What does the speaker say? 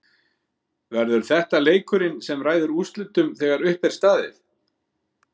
Verður þetta leikurinn sem ræður úrslitum þegar uppi er staðið?